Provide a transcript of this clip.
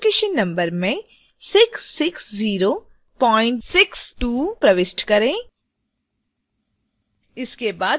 field a classification number में 66062 प्रविष्ट करें